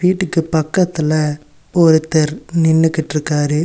வீட்டுக்கு பக்கத்துல ஒருத்தர் நின்னுகிட்டு இருக்காரு.